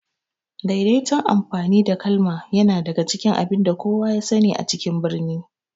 Daidaitun amfani da kalma yana daga cikin abinda kowa ya sani a cikin birni